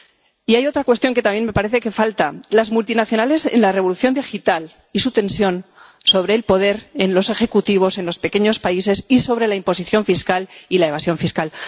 Y hay otra cuestión que también me parece que falta las multinacionales en la revolución digital y su tensión sobre el poder en los ejecutivos en los pequeños países, y sobre la imposición fiscal y la evasión fiscal.